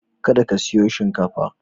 Kada ka siyo shinkafa!